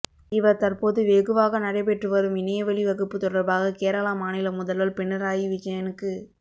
இவர் தற்போது வெகுவாக நடைபெற்று வரும் இணையவழி வகுப்பு தொடர்பாக கேரளா மாநில முதல்வர் பினராயி விஜயனுக்கு